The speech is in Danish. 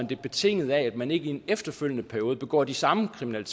det betinget af at man ikke i en efterfølgende periode begår de samme kriminelle